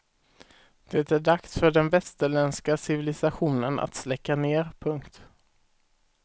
Det är dags för den västerländska civilisationen att släcka ner. punkt